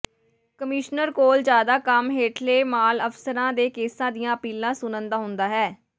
commissioner ਕੋਲ ਜ਼ਿਆਦਾ ਕੰਮ ਹੇਠਲੇ ਮਾਲ ਅਫ਼ਸਰਾਂ ਦੇ ਕੇਸਾਂ ਦੀਆਂ ਅਪੀਲਾਂ ਸੁਣਨ ਦਾ ਹੁੰਦਾ ਹੈ